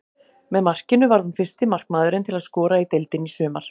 Með markinu varð hún fyrsti markmaðurinn til að skora í deildinni í sumar.